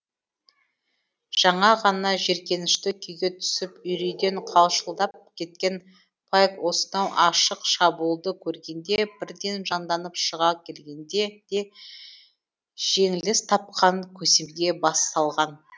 жаңа ғана жеркенішті күйге түсіп үрейден қалшылдап кеткен пайк осынау ашық шабуылды көргенде бірден жанданып шыға келген де жеңіліс тапқан көсемге бас салған